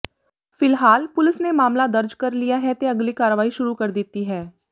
ਫਿਲਹਾਲ ਪੁਲਿਸ ਨੇ ਮਾਮਲਾ ਦਰਜ ਕਰ ਲਿਆ ਹੈ ਤੇ ਅਗਲੀ ਕਾਰਵਾਈ ਸ਼ੁਰੂ ਕਰ ਦਿੱਤੀ ਹੈ